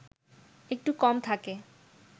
একটু কম থাকে